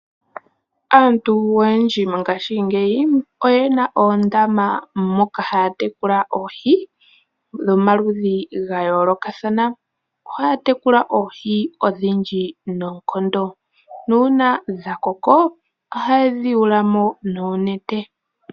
Aantu oyendji mongaashingeyi, oyena oondama moka haya tekula oohi, dhomaludhi gayoolokathana. Ohaya tekula oohi odhindji noonkondo, nuuna dhakoko ohayedhi yuulamo noonete.